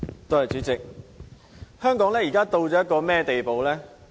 代理主席，香港如今到了一個甚麼地步呢？